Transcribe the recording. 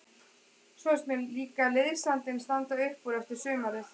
Svo finnst mér líka liðsandinn standa upp úr eftir sumarið.